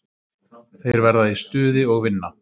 Þeir verða í stuði og vinna.